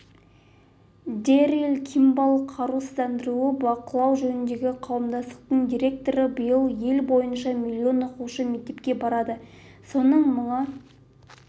дэрил кимбалл қарусыздануды бақылау жөніндегі қауымдастықтың директоры биыл ел бойынша миллион оқушы мектепке барады соның мыңы